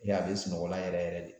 E a bɛ sunɔgɔ o la yɛrɛ yɛrɛ de.